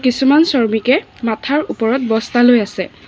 কিছুমান শ্ৰমিকে মাথাৰ ওপৰত বস্তা লৈ আছে।